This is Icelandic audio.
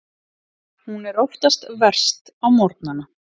Hún er oftast verst á morgnana.